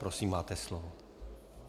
Prosím, máte slovo.